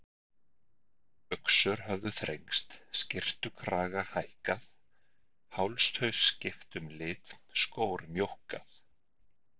Buxur höfðu þrengst, skyrtukragar hækkað, hálstau skipt um lit, skór mjókkað.